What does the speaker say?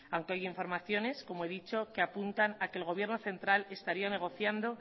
aunque hay informaciones como he dicho que apuntan a que el gobierno central estaría negociando